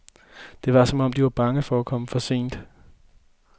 Det var som om, de var bange for at komme for sent.